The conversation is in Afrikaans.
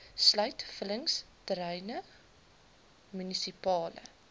sluit vullingsterreine munisipale